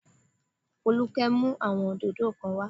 Folúkẹ́ mú àwọn òdòdó kan wá